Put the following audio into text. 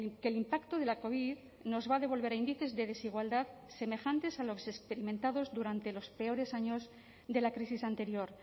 que el impacto de la covid nos va a devolver a índices de desigualdad semejantes a los experimentados durante los peores años de la crisis anterior